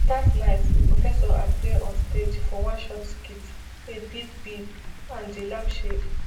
dat night di professor appear on stage for one short skirt a bib bib and di lampshade